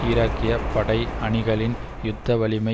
ஈராக்கிய படை அணிகளின் யுத்த வலிமை